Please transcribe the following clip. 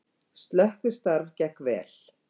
Slökkvistarf gekk vel